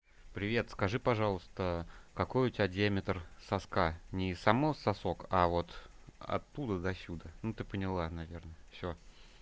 привет скажи пожалуйста какой у тебя диаметр соска не сам сосок а вот оттуда до сюда ну ты поняла наверное всё